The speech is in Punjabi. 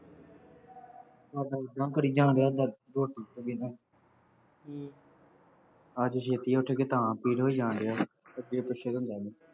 ਇਹ ਤਾਂ ਐਂਦਾ ਕਰੀ ਜਾਣ ਡਿਆਂ ਦਰਦ ਕੁੱਝ ਵੀ ਕੀਤੇ ਬਿਨਾ, ਅੱਜ ਛੇਤੀ ਉੱਠ ਗਏ ਤਾਂ ਪੀੜ ਹੋਈ ਜਾਣ ਡਿਆ, ਅੱਗੇ ਪਿੱਛੇ ਤਾਂ ਹੁੰਦਾ ਨਹੀਂ